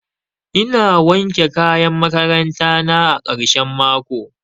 Ina wanke kayan makaranta na a karshen mako